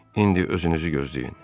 İndi özünüzü gözləyin.